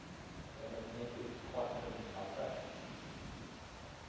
the magnetic quantum number